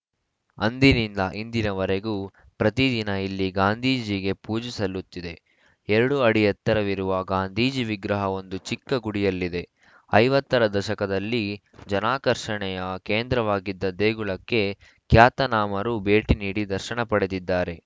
ಅಂದಿನಿಂದ ಇಂದಿನವರೆಗೂ ಪ್ರತಿದಿನ ಇಲ್ಲಿ ಗಾಂಧೀಜಿಗೆ ಪೂಜೆ ಸಲ್ಲುತ್ತಿದೆ ಎರಡು ಅಡಿ ಎತ್ತರವಿರುವ ಗಾಂಧೀಜಿ ವಿಗ್ರಹ ಒಂದು ಚಿಕ್ಕ ಗುಡಿಯಲ್ಲಿದೆ ಐವತ್ತ ರ ದಶಕದಲ್ಲಿ ಜನಾಕರ್ಷಣೆಯ ಕೇಂದ್ರವಾಗಿದ್ದ ದೇಗುಲಕ್ಕೆ ಖ್ಯಾತನಾಮರೂ ಭೇಟಿ ನೀಡಿ ದರ್ಶನ ಪಡೆದಿದ್ದಾರೆ